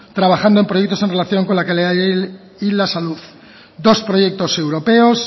trabajando en proyectos en relación con la calidad del aire y la salud dos proyectos europeos